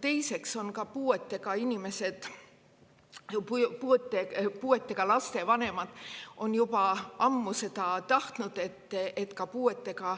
Teiseks on puuetega laste vanemad juba ammu seda tahtnud, et puuetega